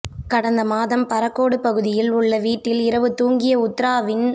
கடந்த மாதம் பறக்கோடு பகுதியில் உள்ள வீட்டில் இரவு துாங்கிய உத்ராவின்